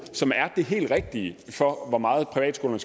som er det helt rigtige for hvor meget privatskolerne